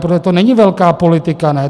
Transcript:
Protože to není velká politika, ne?